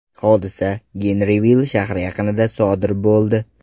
Hodisa Genrivill shahri yaqinida sodir bo‘ldi.